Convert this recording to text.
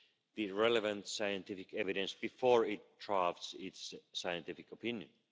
the relevant scientific evidence before it drafts its scientific opinion.